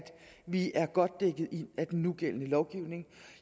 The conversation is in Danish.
vi er godt dækket ind af den nugældende lovgivning